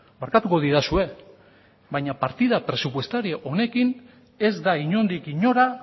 barkatuko didazue baina partida presupuestaria honekin ez da inondik inora